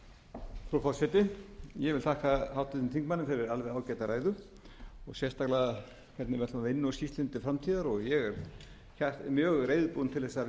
fyrir alveg ágæta ræðu sérstaklega hvernig við ætlum að vinna úr skýrslunni til framtíðar og ég er mjög reiðubúinn til þess að vinna með háttvirtum